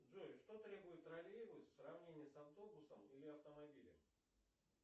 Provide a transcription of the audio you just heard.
джой что требует троллейбус в сравнении с автобусом или автомобилем